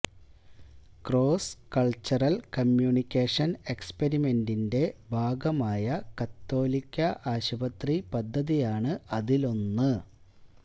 cross cultural communication എക്സിപിരിമെന്റിന്റെ ഭാഗമായ കത്തോലിക്ക ആശുപത്രി പദ്ധതിയാണ് അതിലൊന്ന്